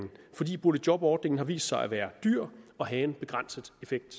fordi boligjobordningen har vist sig at være dyr og have en begrænset effekt